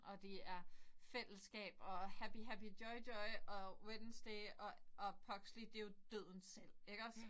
Og det er fællesskab og happy happy joy joy og Wednesday og og Pugsley det er jo døden selv iggås